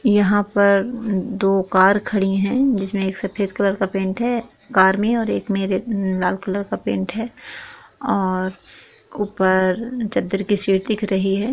यहा पर दो कार खड़ी है जिसमे एक सफेद कलर का पेंट है कार मे और एक मेरे लाल कलर का पेंट है और ऊपर चद्दर की शीट दिख रही है।